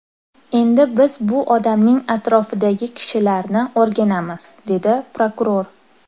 Endi biz bu odamning atrofidagi kishilarni o‘rganamiz”, dedi prokuror.